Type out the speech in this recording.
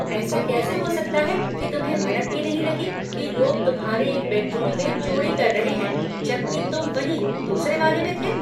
ऐसा कैसा हो सकता है कि तुम्हें भनक भी नहीं लगी कि लोग तुम्हारे एक बेडरूम में चोरी कर रहे हैं, जबकि तुम वहीं दूसरे वाले में थे?